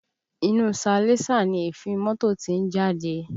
Inú salẹńsà ni èéfín mọ́tò tí ń jáde